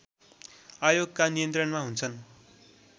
आयोगका नियन्त्रणमा हुन्छन्